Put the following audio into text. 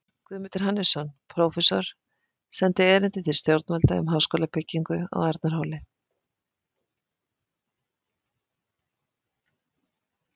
Guðmundur Hannesson, prófessor, sendi erindi til stjórnvalda um háskólabyggingu á Arnarhóli.